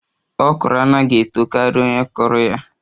Okro anaghi eto karia onye kụrụ ya